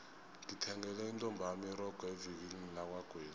ngithengele intombami irogo evikilini lakwagwezi